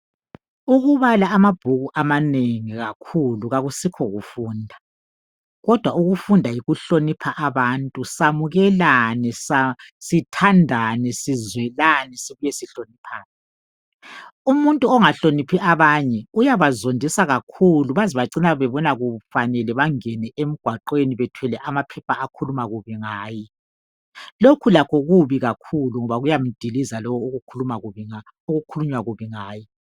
ukubala amabhuku amanengi kakhulu kakusikho kufunda kodwa ukufunda yikuhlonipha abantu samukelane sithandane sizwelane sihloniphane umuntu ongahloniphi abanye uyabazondisa kakhulu baze bacine bebona kufanele bengene emgwaqweni bethwele amaphepha akhuluma kubi ngaye lokhu lakho kubi kakhulu ngoba kuyamdiliza lo okukhulunywa kubi ngaye